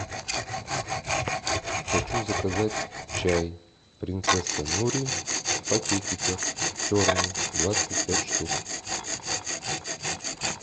хочу заказать чай принцесса нури в пакетиках черный двадцать пять штук